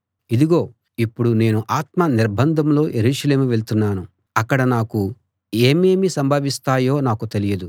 ఇదిగో ఇప్పుడు నేను ఆత్మ నిర్బంధంలో యెరూషలేము వెళ్తున్నాను అక్కడ నాకు ఏమేమి సంభవిస్తాయో నాకు తెలియదు